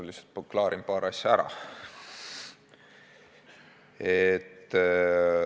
Ma lihtsalt klaarin paar asja ära.